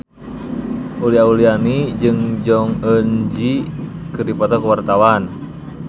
Uli Auliani jeung Jong Eun Ji keur dipoto ku wartawan